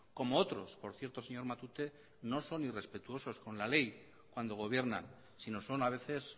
como otros por cierto señor matute no son irrespetuosos con la ley cuando gobiernan sino son a veces